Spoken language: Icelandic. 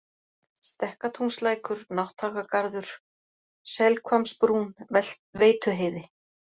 Stekkatúnslækur, Nátthagagarður, Selhvammsbrún, Veituheiði